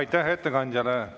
Aitäh ettekandjale!